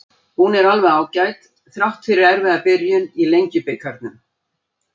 Hún er alveg ágæt, þrátt fyrir erfiða byrjun í Lengjubikarnum.